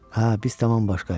Hə, biz tamam başqayıq.